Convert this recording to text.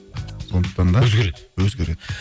сондықтан да өзгереді өзгереді